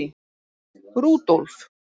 Rúdólf